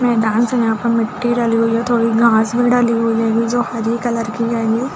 यहाँ और यहाँ पर मिट्टी डली हुई है थोड़ी घास भी डली हुई है ये जो हरे कलर की हेंगी।